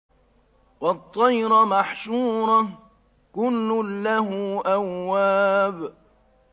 وَالطَّيْرَ مَحْشُورَةً ۖ كُلٌّ لَّهُ أَوَّابٌ